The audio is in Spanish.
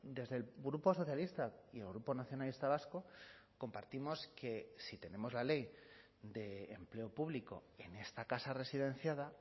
desde el grupo socialista y el grupo nacionalista vasco compartimos que si tenemos la ley de empleo público en esta casa residenciada